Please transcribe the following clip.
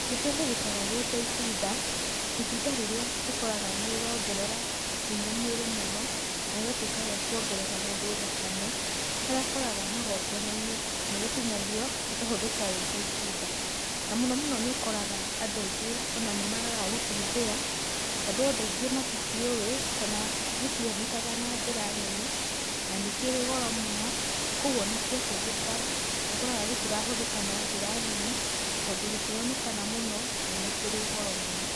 Nĩkĩhũthĩkaga gĩ ta itunda, itunda rĩrĩa ũkoraga nĩrĩrongerera hinya mwĩrĩ mũno, na rĩgatuĩka rĩa kuongerera mũndũ thakame. Harĩa ũkoraga magongona-inĩ nĩrĩtinagio rĩkahũthĩka rĩta itunda, na mũno mũno nĩũkoraga andũ aingĩ ona nĩmagaga gũkĩhũthĩra, tondũ andũ aingĩ matikĩũĩ, kana gĩtikĩonekaga na njĩra nene na nĩ kĩrĩ goro mũno, koguo o na kĩahũthĩka nĩũkoraga gĩtirahũthĩka na njĩra nene, tondũ gĩtironekana mũno na nĩ kĩrĩ goro mũno.